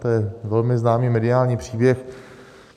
To je velmi známý mediální příběh.